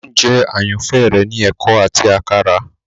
oúnjẹ àyànfẹ rẹ ni eko áti àkàrà.